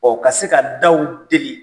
ka se ka daw deli